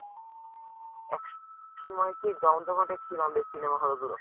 একসময় কী জমজমাটে ছিল আমাদের cinema hall গুলো।